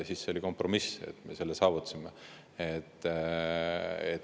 See oli kompromiss, mille me saavutasime.